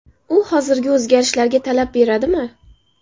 U hozirgi o‘zgarishlarga talab beradimi?